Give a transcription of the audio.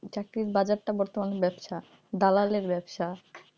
চাকরির বাজারটা বর্তমানে ব্যাবসা দালালের ব্যাবসা,